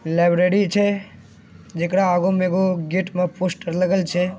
लाइब्रेरी छे जेकरा आगो म एगो गेट मा पोस्टर लगल छे।